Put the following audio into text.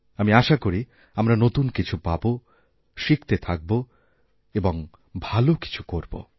আমি আশা করি আমরা নতুন কিছুপাবো শিখতে থাকবো এবং ভালো কিছু করব